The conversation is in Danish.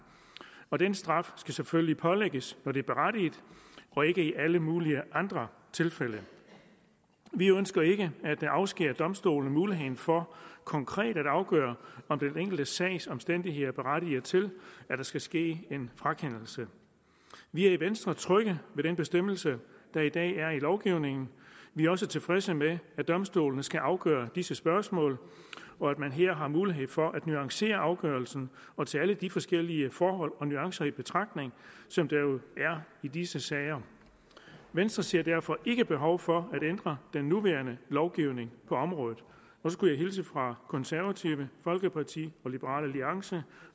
og den straf skal selvfølgelig pålægges når det er berettiget og ikke i alle mulige andre tilfælde vi ønsker ikke at afskære domstolene muligheden for konkret at afgøre om den enkelte sags omstændigheder berettiger til at der skal ske en frakendelse vi er i venstre trygge ved den bestemmelse der i dag er i lovgivningen vi er også tilfredse med at domstolene skal afgøre disse spørgsmål og at man her har mulighed for at nuancere afgørelsen og tage alle de forskellige forhold og nuancer i betragtning som der jo er i disse sager venstre ser derfor ikke behov for at ændre den nuværende lovgivning på området så skulle jeg hilse fra konservative folkeparti og liberal alliance